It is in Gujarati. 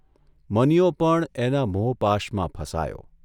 મનીયો પણ એના મોહપાશમાં ફસાયો.